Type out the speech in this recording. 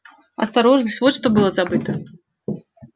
осторожность вот что было забыто